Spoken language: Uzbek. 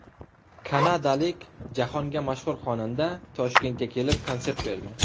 Kanadalik jahonga mashhur xonanda Toshkentga kelib, konsert berdi.